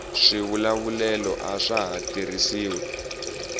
swivulavulelo aswa ha tirhisiwi